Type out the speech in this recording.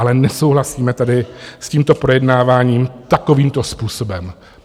Ale nesouhlasíme tady s tímto projednáváním takovýmto způsobem.